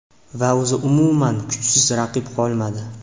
Va o‘zi umuman kuchsiz raqib qolmadi.